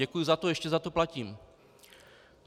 Děkuji za to, ještě za to platím.